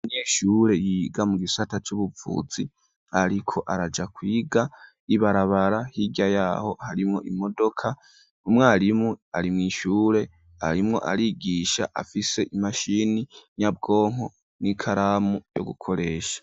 Umweshure yiga mu gisata c'ubuvuzi ariko araja kwiga ibarabara hirya yaho harimwo imodoka umwarimu ari mw'ishure arimwo arigisha afise imashini nyabwonko n'ikaramu yo gukoresha.